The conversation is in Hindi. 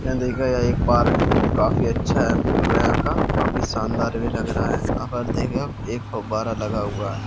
यह देखो यह एक पार्क है काफी अच्छा व्यू है यहाँ का काफी शानदार भी लग रहा है यहाँ पर देखो एक फव्वारा लगा हुआ है।